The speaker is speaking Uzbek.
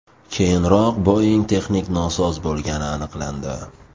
Keyinroq Boeing texnik nosoz bo‘lgani aniqlandi.